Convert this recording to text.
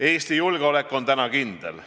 Eesti julgeolek on täna siiski kindel.